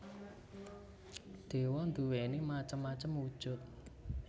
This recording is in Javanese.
Dewa nduwéni macem macem wujud